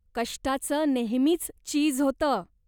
कष्टाचं नेहमीच चीज होतं.